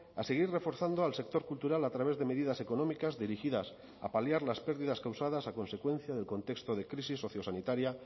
a seguir reforzando al sector cultural a través de medidas económicas dirigidas a paliar las pérdidas causadas a consecuencia del contexto de crisis sociosanitaria